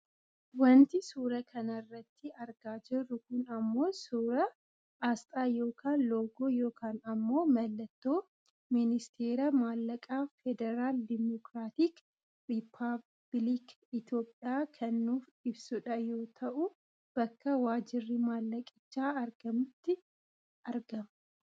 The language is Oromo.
Wanti suuraa kanarratti argaa jiru kun ammoo suuraa aasxaa yookaan loogoo yookaan ammoo mallattoo ministeera maallaqaa federal diimocraatic ripabilikii itoopiyaa kan nuuf ibsudha yoo ta'u bakka waajirri maallaqichaa argamutti argama